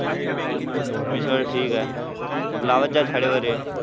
आम्ही सगळे ठीक आहे मग लावत जा झाडे वगैरे